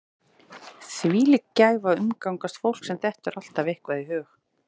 Þvílík gæfa að umgangast fólk sem dettur alltaf eitthvað í hug.